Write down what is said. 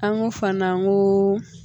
An ko fana an ko